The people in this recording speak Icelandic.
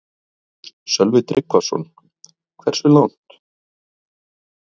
Sölvi Tryggvason: Hversu langt?